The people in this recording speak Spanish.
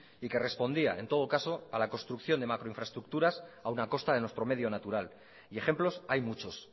y que respondía en todo caso a la construcción de macro infraestructuras aún a costa de nuestro medio natural y ejemplos hay muchos